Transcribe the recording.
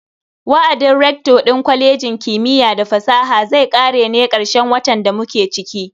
Wa'adin rector din kwalejin kimiyya da fasaha zai kare ne karshen watan da muke ciki.